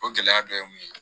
O gɛlɛya dɔ ye mun ye